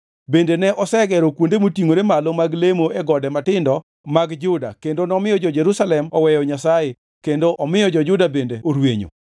Bende ne osegero kuonde motingʼore malo mag lemo e gode matindo mag Juda kendo nomiyo jo-Jerusalem oweyo Nyasaye kendo omiyo jo-Juda bende orwenyo.